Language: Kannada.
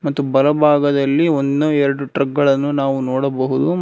ಮತ್ತು ಬಲಭಾಗದಲ್ಲಿ ಒಂದು ಎರಡು ಟ್ರಕ್ ಗಳನ್ನು ನೋಡಬಹುದು.